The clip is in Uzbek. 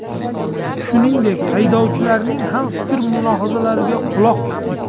Shuningdek, haydovchilarning ham fikr-mulohazalariga quloq tutdik.